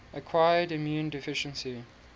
acquired immune deficiency